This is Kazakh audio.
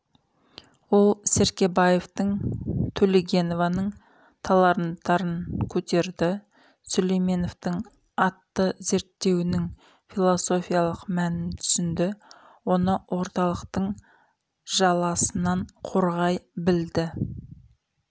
ол серкебаевтың төлегенованың таланттарын көтерді сүлейменовтың атты зерттеуінің философиялық мәнін түсінді оны орталықтың жаласынан қорғай білді